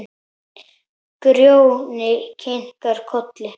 Grjóni kinkar kolli.